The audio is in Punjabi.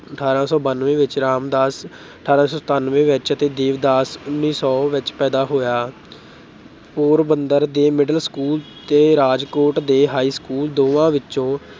ਅਠਾਰਾਂ ਸੌ ਬਨਵੇਂ ਵਿੱਚ, ਰਾਮਦਾਸ ਅਠਾਰਾਂ ਸੌ ਸਤਾਨਵੇਂ ਵਿੱਚ ਤੇ ਦੇਵਦਾਸ ਉੱਨੀ ਸੌ ਵਿੱਚ ਪੈਦਾ ਹੋਇਆ। ਪੋਰਬੰਦਰ ਦੇੇ middle school ਤੇ ਰਾਜਕੋਟ ਦੇ high school ਦੋਵਾਂ ਵਿੱਚੋਂ